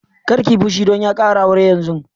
Kar ki yi fushi don ya ƙara aure yanzun!